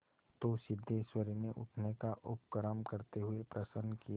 तो सिद्धेश्वरी ने उठने का उपक्रम करते हुए प्रश्न किया